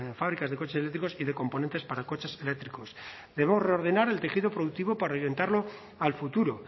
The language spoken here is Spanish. fábricas de coches eléctricos y de componentes para coches eléctricos debemos reordenar el tejido productivo para orientarlo al futuro